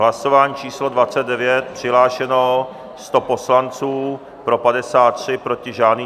Hlasování číslo 29, přihlášeno 100 poslanců, pro 53, proti žádný.